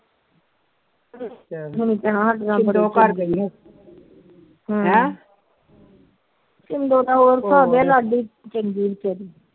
ਮੈਨੂੰ ਹੈ ਛਿੰਡੋ